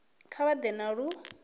kha vha ḓe na lu